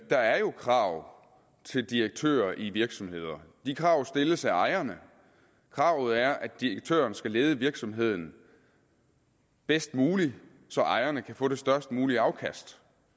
der er jo krav til direktører i virksomheder de krav stilles af ejerne kravet er at direktøren skal lede virksomheden bedst muligt så ejerne kan få det størst mulige afkast